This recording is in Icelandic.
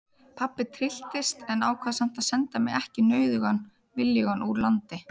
Pabbi trylltist en ákvað samt að senda mig ekki nauðugan viljugan úr landi.